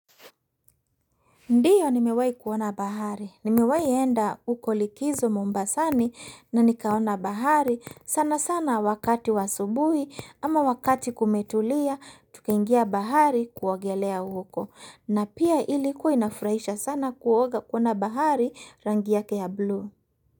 Ndiyo nimewai kuona bahari. Nimewai enda huko likizo Mombasani na nikaona bahari sana sana wakati wa asubuhi ama wakati kumetulia tukaingia bahari kuogelea huko. Na pia ilikuwa inafraisha sana kuoga kuona bahari rangi yake ya blue.